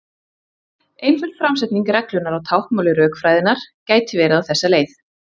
Einföld framsetning reglunnar á táknmáli rökfræðinnar gæti verið á þessa leið: